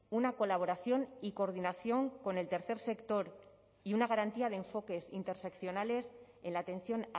una colaboración y coordinación con el tercer sector y una garantía de enfoques interseccionales en la atención